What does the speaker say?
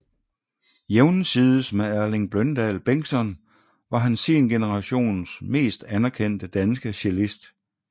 Jævnsides med Erling Bløndal Bengtsson var han sin generations mest anerkendte danske cellist